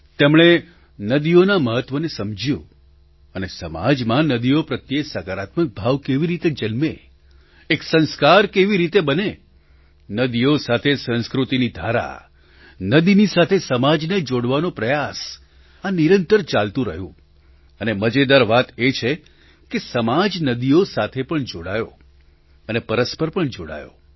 તેમણે નદીઓના મહત્વને સમજ્યું અને સમાજમાં નદીઓ પ્રત્યે સકારાત્મક ભાવ કેવી રીતે જન્મે એક સંસ્કાર કેવી રીતે બને નદી સાથે સંસ્કૃતિની ધારા નદી સાથે સંસ્કારી ધારા નદીની સાથે સમાજને જોડવાનો પ્રયાસ આ નિરંતર ચાલતું રહ્યું અને મજેદાર વાત એ છે કે સમાજ નદીઓ સાથે પણ જોડાયો અને પરસ્પર પણ જોડાયો